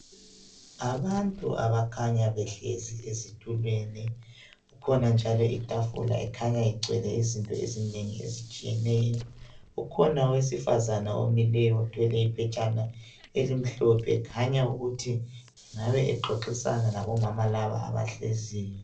Abantu abakhanya behlezi ezitulweni. Kukhona njalo itafula ekhanya igcwele izinto ezinengi, ezitshiyeneyo. Ukhona owesifazana omileyo, othwele iphetshana elimhlophe Ekhanya ukuthi angabe exoxisana labomama laba, abahleziyo.